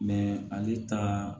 ale taa